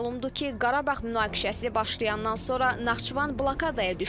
Məlumdur ki, Qarabağ münaqişəsi başlayandan sonra Naxçıvan blokadaya düşdü.